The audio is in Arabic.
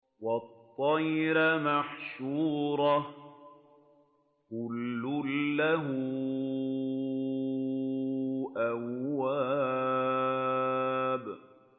وَالطَّيْرَ مَحْشُورَةً ۖ كُلٌّ لَّهُ أَوَّابٌ